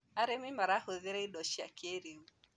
arĩmi marahũthira indo cia kĩiriu